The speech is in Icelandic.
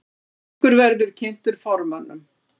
Samningur verði kynntur formönnum